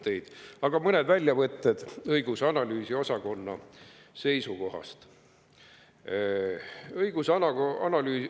mõned väljavõtted õigus‑ ja analüüsiosakonna seisukohtadest.